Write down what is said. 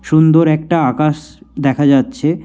সুন্দর একটা আকাশ দেখা যাচ্ছে।